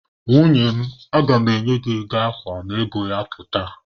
Nwunye m, aga mụ enye gị ego akwa ma ego ya pụta.